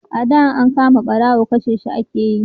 a da in an kama barawo kashe shi ake yi